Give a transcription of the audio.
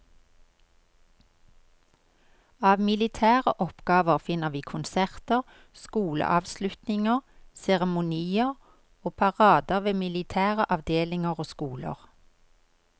Av militære oppgaver finner vi konserter, skoleavslutninger, seremonier og parader ved militære avdelinger og skoler.